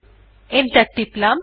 enter টিপলাম